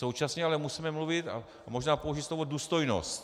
Současně ale musíme mluvit a možná použít slovo důstojnost.